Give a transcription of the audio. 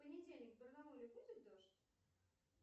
в понедельник в барнауле будет дождь